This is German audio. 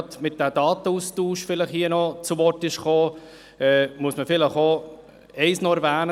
Weil der Datenaustausch angesprochen wurde, muss man noch eins erwähnen: